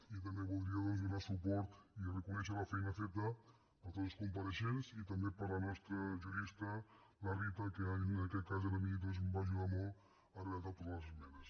i també voldria donar suport i reconèixer la feina feta per tots els compareixents i també per la nostra jurista la rita que en aquest cas a mi em va ajudar molt a redactar totes les esmenes